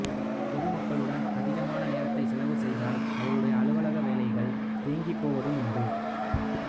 பொதுமக்களுடன் அதிகமான நேரத்தைச் செலவு செய்ததால் அவருடைய அலுவலக வேலைகள் தேங்கிப் போவதும் உண்டு